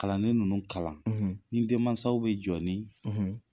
Kalanden ninnu kalan ni denmansaw bɛ jɔ ni